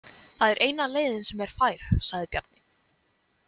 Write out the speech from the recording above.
Það er eina leiðin sem er fær, sagði Bjarni.